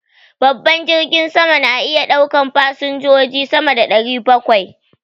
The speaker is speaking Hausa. Babban jirgin sama na iya ɗaukan an fasanjoji sama da ɗari bakwai